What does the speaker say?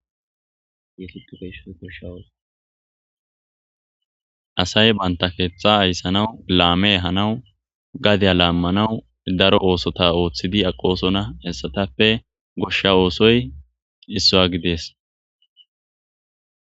Asay banththa keeththaa ayssanawu laame ehanawu gadiya laammanawu daro oosotha ooththiidi aqoosona; hessathappe goshsha oosoy issuwaa gidees.